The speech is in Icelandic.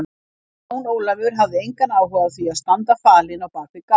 Jón Ólafur hafði engan áhuga á því að standa falinn á bak við gám.